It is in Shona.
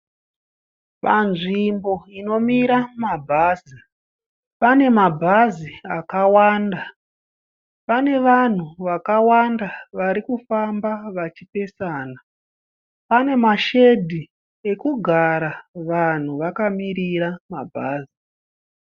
Panzvimbo inomira mabhazi, pane mabhazi akawanda. Panavanhu vakawanda varikufamba vachipesana. Panemashedhi ekugara vanhu vakamirira mabhazi.